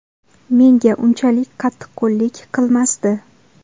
Menga unchalik qattiqqo‘llik qilmasdi.